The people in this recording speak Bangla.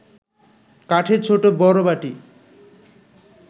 কাঠের ছোট বড় বাটি